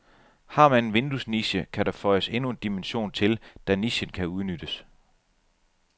Har man en vinduesniche, kan der føjes endnu en dimension til, da nichen kan udnyttes.